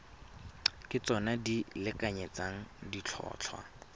ke tsona di lekanyetsang ditlhotlhwa